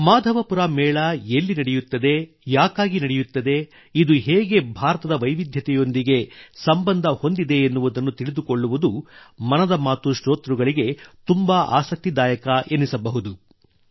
ಮಾಧವಪುರ ಮೇಳ ಎಲ್ಲಿ ನಡೆಯುತ್ತದೆ ಯಾಕಾಗಿ ನಡೆಯುತ್ತದೆ ಇದು ಹೇಗೆ ಭಾರತದ ವಿವಿಧತೆಯೊಂದಿಗೆ ಸಂಬಂಧ ಹೊಂದಿದೆ ಎನ್ನುವುದನ್ನು ತಿಳಿದುಕೊಳ್ಳುವುದು ಮನದ ಮಾತು ಶ್ರೋತೃಗಳಿಗೆ ತುಂಬ ಆಸಕ್ತಿದಾಯಕ ಎನಿಸಬಹುದು